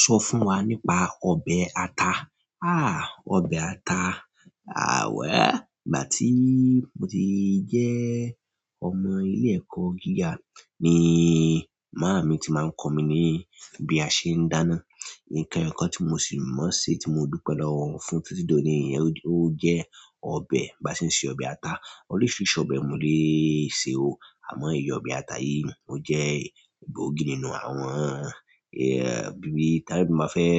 Sọ fún wa nípa ọbẹ̀ ata. Ọbẹ̀ ata, àwáà. Ìgbà tí mo ti jẹ́ ọmọ ilé ẹ̀kọ́ gíga ni màámi ti máa ń kọ́ mi ní bí a ṣe ń dáná. Nǹkan kan tí mo sì mọ̀ se, tí mo dúpẹ́ lọwọ wọn fún títí dòní, ó jẹ́ ọbẹ̀, bá ṣe ń ṣe ọbẹ̀ ata. Oríṣiiríṣii ọbẹ̀ mo lè ṣe ó, àmọ́ èyí ọbẹ̀ ata yìí ò jẹ́ gbòogi nínú àwọn, bíi, tí aridu máa fẹ́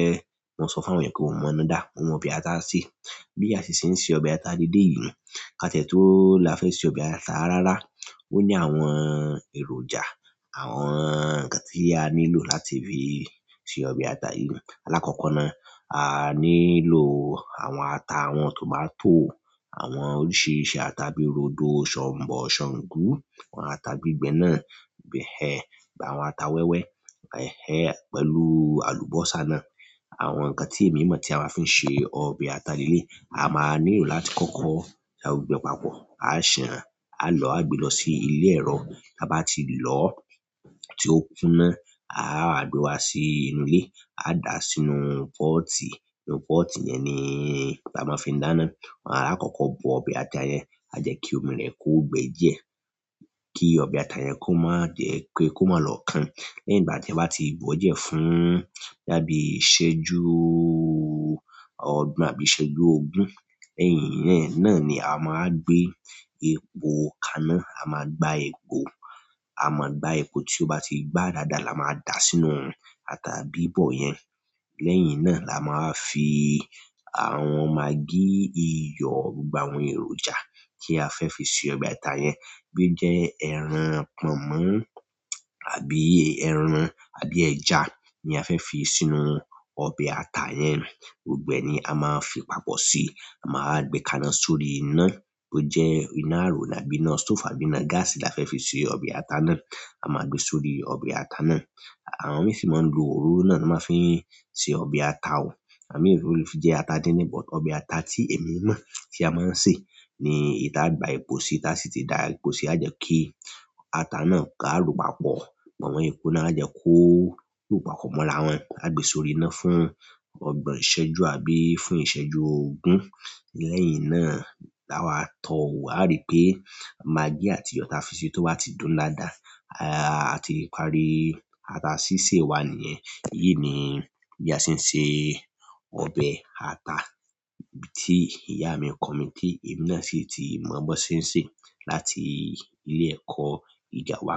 máa sọ fún àwọn ènìyàn kí wọ́n mọ̀ án dáadáa, mo mọ ọbẹ̀ ata ṣe. Bí a si ṣe ń ṣe ọbẹ̀ ata lele yìí, ká tiẹ̀ tó láfẹ̀ẹ́ ṣe ọbẹ̀ ata rárá. Ó ní àwọn èròjà, àwọn nǹkan tí a nílò láti fi ṣe ọbẹ̀ ata yìí. Alákọ̀kọ na, a nílò àwọn ata, àwọn tòmátò, àwọn oríṣìíríṣìí ata bíi rodo, ṣọ̀nbọ́, ṣàngú, àwọn ata gbígbẹ náà, bẹ̀-ẹ́hen, àwọn ata wẹ́wẹ́, ẹ̀hẹ́n, pẹ̀lú àlùbọ́sà náà. Àwọn nǹkan ti emi ti a maa fi n se ọbẹ̀ ata leleyi, a maa nílò láti koko da gbogbo e papọ̀. A san á lọ a gbé lọ sí ilé ẹrọ. Bá ba ti lọ, tí ó kúnná, a wá gbé wa sí inú ilé, a dà á sínú pọ́ọ̀tì. Nínú pọ́ọ̀tì yẹn ni la máa fi ń dáná. A kọ̀kọ̀ bo ọbẹ̀ ata yẹn, a jẹ́ kí omi rẹ̀ kó gbẹ díẹ̀, kí ọbẹ̀ ata yẹn kó má jẹ́ pé kó má lọ kàn. Lẹ́yìn ìgbà tí e bá ti bọ́ diẹ fún boyá bi ìṣẹ́jú ọgbon àbí ìṣẹ́jú ogún, lẹ́yìn yen náà ni a wa máa wa gbé epo kaná, a máa gbá epo. A máa gbá epo tí ó bá ti gbá dáadáa la máa dà sínú ata bíbọ̀ yẹn. Lẹ́yìn náà la máa fi àwọn magí, iyọ̀ gbogbo àwọn èròjà tí a fẹ́ fi ṣe ọbẹ̀ ata yẹn. Boya o jẹ́ ẹran pọ̀nmọ́ àbí ẹran àbí ẹja ni a fẹ́ fi sínú ọbẹ̀ ata yẹn. Gbogbo ẹ ni a máa fi papọ̀ sí i. A máa wa gbé kaná sórí iná bó jẹ́ iná àrò àbí iná stófù àbí iná gáàsì la fẹ́ fi ṣe ọbẹ̀ ata náà. A máa gbé e sórí ọbẹ̀ ata náà. Àwọn mí si máa ń lo òroro náà na máa ń fi ṣe ọbẹ̀ ata o. Ìgbà mii ó lè fi jẹ́ ata díndín but. Ọbẹ̀ ata tí èmi mọ̀ tí a máa ń sè ni èyí taa gba epo sí i, ta sì ti da epo sí i, a jẹ́ kí ata náà ká ro pápọ̀, po mo epo náà, a jẹ́ kó ró papọ̀ mọ́ra wọn. A gbé e sórí iná fún ọgbọ̀n ìṣẹ́jú àbí fún ìṣẹ́jú ogún. Lẹ́yìn náà la wá tọ ò wo, a rí pé magí àti iyo ta fi ṣi tó bá ti dùn dáadáa, a ti parí ata sísè wa niyẹn. Èyí ni bí a ṣe ń ṣe ọbẹ̀ ata tí ìyá mi kọ mí tí èmi náà sì ti mọ bí won ṣe ń ṣe láti ilé ẹ̀kọ́ ìjà wa.